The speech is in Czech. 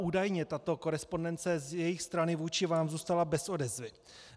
Údajně tato korespondence z jejich strany vůči vám zůstala bez odezvy.